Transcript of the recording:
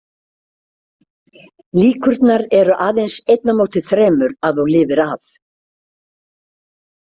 Líkurnar eru aðeins einn á móti þremur að þú lifir af.